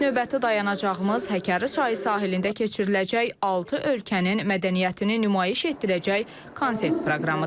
Növbəti dayanacağımız Həkəri çayı sahilində keçiriləcək altı ölkənin mədəniyyətini nümayiş etdirəcək konsert proqramıdır.